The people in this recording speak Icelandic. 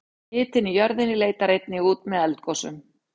hitinn í jörðinni leitar einnig út með eldgosum